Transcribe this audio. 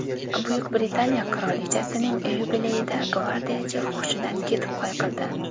Buyuk Britaniya qirolichasining yubileyida gvardiyachi hushidan ketib yiqildi .